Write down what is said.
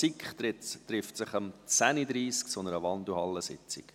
Die SiK trifft sich um 10.30 Uhr zu einer Wandelhallensitzung.